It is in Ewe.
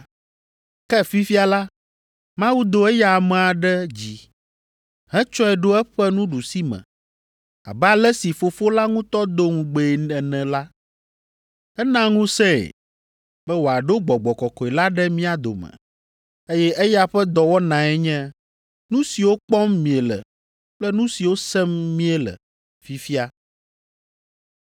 Ke fifia la, Mawu do eya amea ɖe dzi, hetsɔe ɖo eƒe nuɖusime abe ale si Fofo la ŋutɔ do ŋugbee ene la, ena ŋusẽe be wòaɖo Gbɔgbɔ Kɔkɔe la ɖe mía dome, eye eya ƒe dɔwɔnae nye nu siwo kpɔm miele kple nu siwo sem mìele fifia.